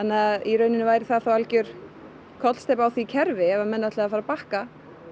væri það algjör kollsteypa á því kerfi ef menn ætluðu að fara að bakka